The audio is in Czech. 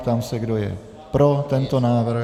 Ptám se, kdo je pro tento návrh.